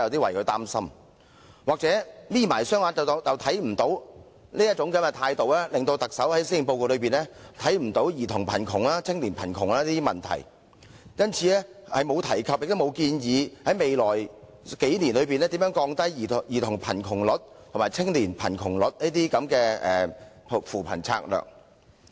或許是"'瞇'起雙眼便看不見"，特首完全沒有在施政報告正視兒童貧窮和青年貧窮等問題，所以對於在未來數年有何扶貧策略降低兒童貧窮及青年貧窮的比率，亦完全隻字不提。